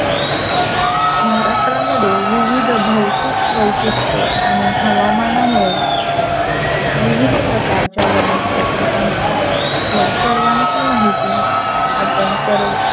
महाराष्ट्रमध्ये विविध भौतिक वैशिष्ट्य हवामानामुळे विविध प्रकारच्या वनस्पती आणि आहेत. या सर्वांची माहिती आपण सर्व,